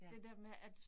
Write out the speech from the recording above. Ja